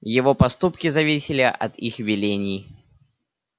его поступки зависели от их велений